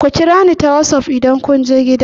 Ku kira ni ta wassaf idan kun je gida!